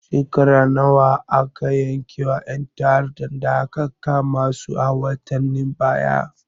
Shekaru nawa aka yanke ma ƴan ta'addan da aka kama su a watanen baya?